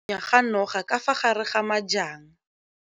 nya ga noga ka fa gare ga majang.